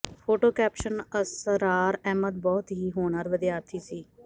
photo caption Asrar Ahmad ਬਹੁਤ ਹੀ ਹੋਣਹਾਰ ਵਿਦਿਆਰਥੀ ਸੀ